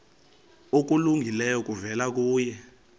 okulungileyo kuvela kuye